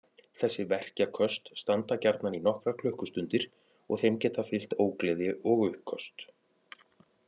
Þessi verkjaköst standa gjarna í nokkrar klukkustundir og þeim geta fylgt ógleði og uppköst.